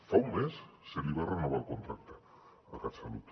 fa un mes se li va renovar el contracte a catsalut